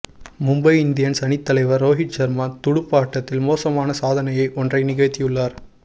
Mumbai Indians அணித்தலைவர் ரோஹித் ஷர்மா துடுப்பாட்டத்தில் மோசமான சாதனையை ஒன்றை நிகழ்த்தியுள்ளார்